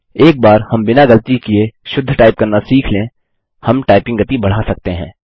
एक बार हम बिना गलती किए शुद्ध टाइप करना सीख लें हम टाइपिंग गति बढा सकते हैं